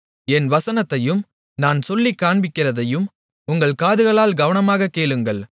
என் வசனத்தையும் நான் சொல்லிக் காண்பிக்கிறதையும் உங்கள் காதுகளால் கவனமாகக் கேளுங்கள்